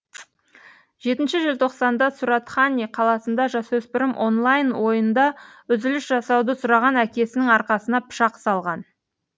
жетінші желтоқсанда суратхани қаласында жасөспірім онлайн ойында үзіліс жасауды сұраған әкесінің арқасына пышақ салған